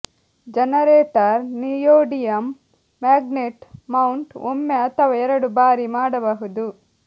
generator neodymium magnet mount ಒಮ್ಮೆ ಅಥವಾ ಎರಡು ಬಾರಿ ಮಾಡಬಹುದು